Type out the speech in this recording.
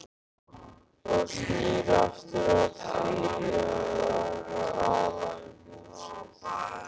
Og snýr aftur að því að tala um húsið.